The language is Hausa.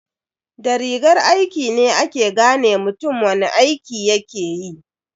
Da rigar aiki ne ake gane mutum wani aiki yakeyi.